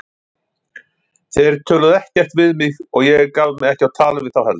Þeir töluðu ekkert við mig og ég gaf mig ekki á tal við þá heldur.